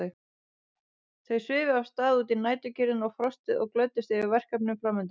Þau svifu af stað út í næturkyrrðina og frostið og glöddust yfir verkefninu framundan.